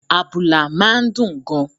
Àbùlà máa ń dùn gan-an